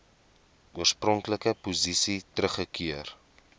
oorspronklike posisie teruggekeer